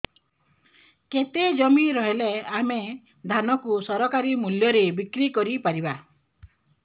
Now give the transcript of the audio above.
କେତେ ଜମି ରହିଲେ ଆମେ ଧାନ କୁ ସରକାରୀ ମୂଲ୍ଯରେ ବିକ୍ରି କରିପାରିବା